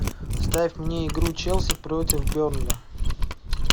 ставь мне игру челси против бернли